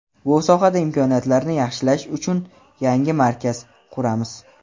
Bu sohada imkoniyatlarni yaxshilash uchun yangi markaz quramiz.